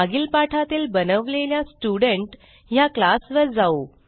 मागील पाठातील बनवलेल्या स्टुडेंट ह्या क्लास वर जाऊ